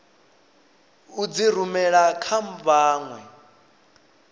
u dzi rumela kha vhanwe